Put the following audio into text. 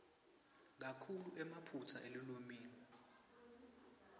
kakhulu emaphutsa elulwimi